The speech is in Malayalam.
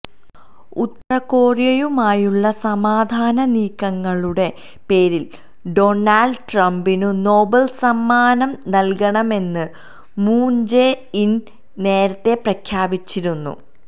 ഉത്തരകൊറിയയുമായുള്ള സമാധാന നീക്കങ്ങളുടെ പേരിൽ ഡോണൾഡ് ട്രംപിനു നൊബേൽ സമ്മാനം നല്കണമെന്ന് മൂൺ ജെ ഇന് നേരത്തെ പ്രഖ്യാപിച്ചിരുന്നു